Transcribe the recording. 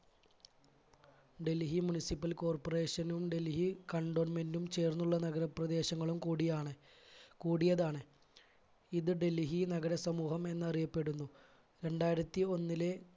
Delhi municipal corporation നും Delhi cantonment ചേർന്നുള്ള നഗര പ്രദേശങ്ങളും കൂടിയാണ് കൂടിയതാണ്. ഇത് ഡൽഹി നഗര സമൂഹം എന്നറിയപ്പെടുന്നു. രണ്ടായിരത്തി ഒന്നിലെ